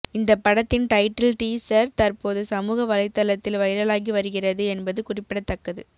இந்த படத்தின் title teaser தற்போது சமூக வலைத்தளத்தில் வைரலாகி வருகிறது என்பது குறிப்பிடத்தக்கது